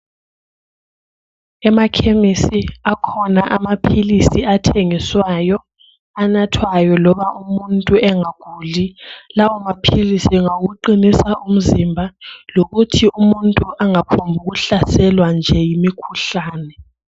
Emakhemisi akhona amaphilisi athengiswayo, anathwayo loba umuntu engaguli lawo maphililsi ngawokuqinisa umzimba lokuthi umuntu engaphombu kuhlaselwa nje yimikhuhlane.